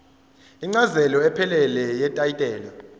incazelo ephelele yetayitela